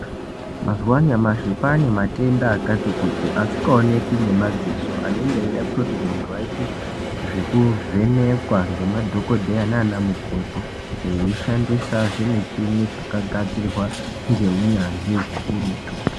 Mazuva anyamashi kwaanematenda akati kuti asikaoneki ngemadziso anenge eida kutoti muntu aite zvekuvhenekwa ngemadhogodheya naana mukoti veishandisa zvimuchini zvakagadzirwa ngeunyanzvi hukurutu.